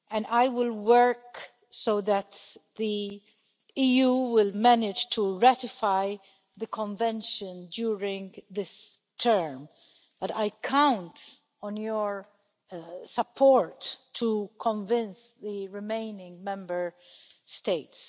I will work so that the EU will manage to ratify the Convention during this term, but I count on your support to convince the remaining Member States.